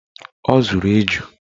Ọ zụrụ eju